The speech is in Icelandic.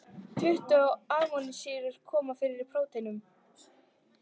Tuttugu amínósýrur koma fyrir í prótínum.